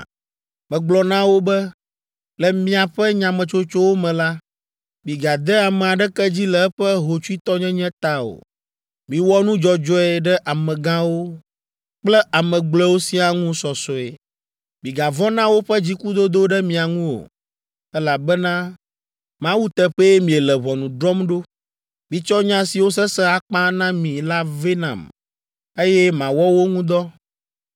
Megblɔ na wo be, ‘Le miaƒe nyametsotsowo me la, migade ame aɖeke dzi le eƒe hotsuitɔnyenye ta o. Miwɔ nu dzɔdzɔe ɖe amegãwo kple ame gblɔewo siaa ŋu sɔsɔe. Migavɔ̃ na woƒe dzikudodo ɖe mia ŋu o, elabena Mawu teƒee miele ʋɔnu drɔ̃m ɖo. Mitsɔ nya siwo sesẽ akpa na mi la vɛ nam, eye mawɔ wo ŋu dɔ.’